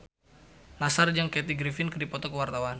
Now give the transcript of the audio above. Nassar jeung Kathy Griffin keur dipoto ku wartawan